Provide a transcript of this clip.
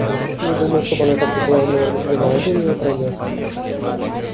не думаю чтобы она так же была в него влюблена это у нее пройдёт